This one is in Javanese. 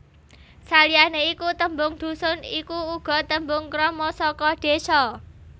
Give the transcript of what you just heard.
Saliyané iku tembung dhusun iku uga tembung krama saka désa